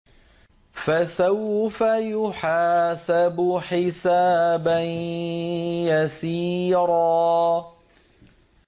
فَسَوْفَ يُحَاسَبُ حِسَابًا يَسِيرًا